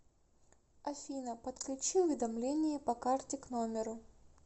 афина подключи уведомление по карте к номеру